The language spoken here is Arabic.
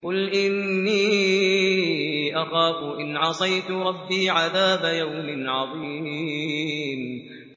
قُلْ إِنِّي أَخَافُ إِنْ عَصَيْتُ رَبِّي عَذَابَ يَوْمٍ عَظِيمٍ